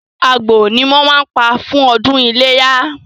Àgbò ni wọ́n máa ń pa fún ọdún iléyá.